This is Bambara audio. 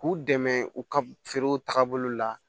K'u dɛmɛ u ka feerew tagabolo la